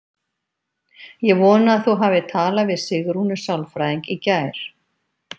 Ég vona að þú hafir talað við Sigrúnu sálfræðing í gær.